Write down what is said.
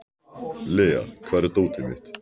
Lea, hvar er dótið mitt?